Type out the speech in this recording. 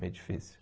Meio difícil.